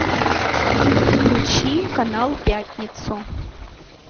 включи канал пятницу